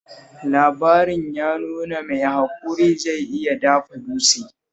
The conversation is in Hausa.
Labarin ya nuna mai haƙuri zai iya dafa dutse